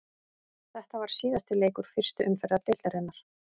Þetta var síðasti leikur fyrstu umferðar deildarinnar.